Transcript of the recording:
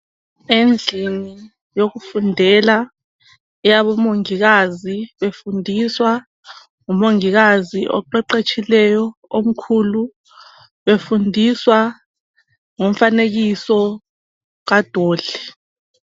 Endlini yokufundela eyabomongikazi befundiswa ngumongikazi oqeqetshileyo omkhulu, befundiswa ngomfanekiso kadoli.